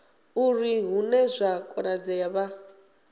uri hune zwa konadzea vha